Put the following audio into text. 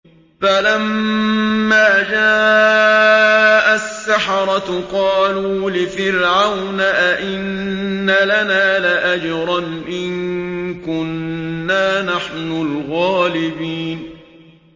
فَلَمَّا جَاءَ السَّحَرَةُ قَالُوا لِفِرْعَوْنَ أَئِنَّ لَنَا لَأَجْرًا إِن كُنَّا نَحْنُ الْغَالِبِينَ